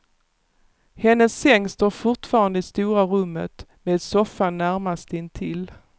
Hennes säng står fortfarande i stora rummet, med soffan närmast intill.